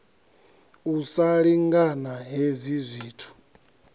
u sa lingana hezwi zwithu